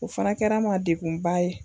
O fana kɛra n ma degunba ye.